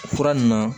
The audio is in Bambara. O fura ninnu na